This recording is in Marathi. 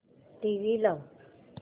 टीव्ही लाव